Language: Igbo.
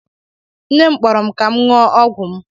Nne m kpọrọ m ka m ṅụọ ọgwụ m